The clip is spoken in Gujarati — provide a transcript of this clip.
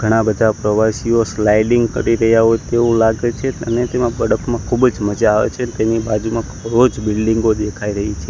ઘણા બધા પ્રવાસીઓ સ્લાઇડિંગ કરી રહ્યા હોઈ તેવુ લાગે છે અને તેમા મા ખુબજ મજા આવે છે તેની બાજુમાં બિલ્ડિંગો દેખાય રહી છે.